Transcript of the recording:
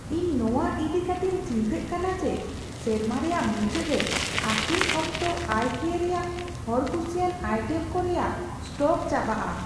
ᱤᱧ ᱱᱚᱣᱟ ᱤᱫᱤ ᱠᱟᱛᱮᱧ ᱪᱤᱱᱛᱟᱹᱜ ᱠᱟᱱᱟ ᱡᱮ ᱥᱮᱨᱢᱟ ᱨᱮᱭᱟᱜ ᱢᱩᱪᱟᱹᱫ ᱨᱮ ᱟᱠᱷᱨᱤᱧ ᱚᱠᱛᱚ ᱟᱭᱠᱤᱭᱟ ᱨᱮᱭᱟᱜ ᱦᱚᱲᱠᱩᱥᱤᱭᱟᱜ ᱟᱭᱴᱮᱢ ᱠᱚ ᱨᱮᱭᱟᱜ ᱥᱴᱚᱠ ᱪᱟᱵᱟᱜᱼᱟ ᱾